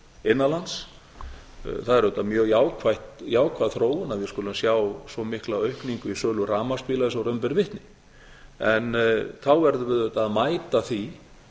innan lands það er auðvitað mjög jákvæð þróun að við skulum sjá svo mikla aukningu í sölu rafmagnsbíla og raun ber vitni en þá verðum við auðvitað að mæta því